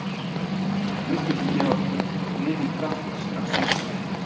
Þú vilt ekki gefa liði kraft strax í upphafi.